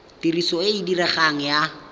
tiriso e e diregang ya